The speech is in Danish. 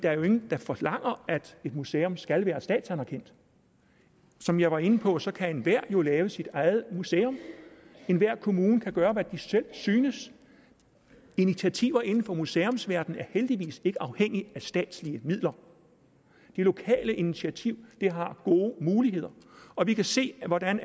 er jo ingen der forlanger at et museum skal være statsanerkendt som jeg var inde på så kan enhver jo lave sit eget museum enhver kommune kan gøre hvad den selv synes initiativer inden for museumsverdenen er heldigvis ikke afhængige af statslige midler det lokale initiativ har gode muligheder og vi kan se hvordan